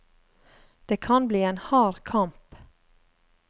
Det kan bli en hard kamp.